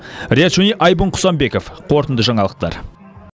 риат шони айбын құсанбеков қорытынды жаңалықтар